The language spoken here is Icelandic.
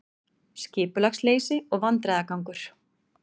Skipulagsleysi og vandræðagangur